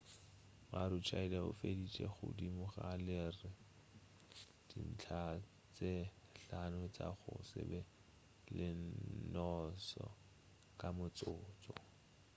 maroochydore o feditše godimo ga leri dintlha tše hlano tša go se be le noosa ka motsotso